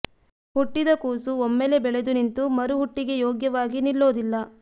ಹುಟ್ಟಿದ ಕೂಸು ಒಮ್ಮೆಲೇ ಬೆಳೆದು ನಿಂತು ಮರು ಹುಟ್ಟಿಗೆ ಯೋಗ್ಯವಾಗಿ ನಿಲ್ಲೋದಿಲ್ಲ